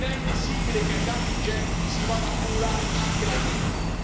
Non è ammissibile che ai danni ingenti si vada ad accumulare anche la beffa.